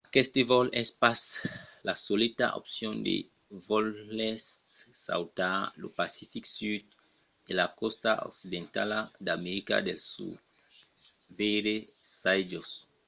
aqueste vòl es pas la soleta opcion se volètz sautar lo pacific sud e la còsta occidentala d’america del sud. veire çai-jos